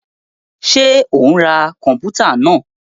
Ṣe o n rá kọnputa náà?